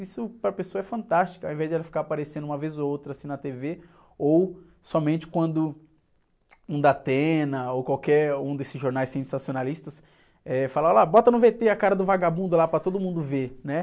Isso para a pessoa é fantástico, ao invés de ela ficar aparecendo uma vez ou outra, assim, na tê-vê, ou somente quando um ou qualquer um desses jornais sensacionalistas, eh, fala, olha lá, bota no vê-tê a cara do vagabundo lá para todo mundo ver.